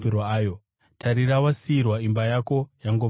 Tarira, wasiyirwa imba yako yangova dongo.